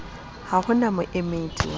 ha ho na moemedi wa